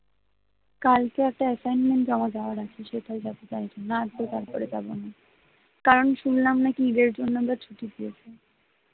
কালকে একটা assinment জমা দেওয়ার আছে তো সেটার জন্যই যাব আর তো যাবো না কারণ শুনলাম নাকি ঈদের জন্য তো ছুটি দিয়েছে